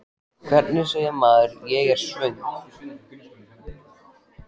Hvernig segir maður: Ég er svöng?